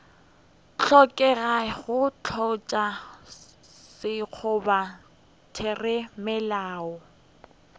hlokega go tlatša sekgoba theramelao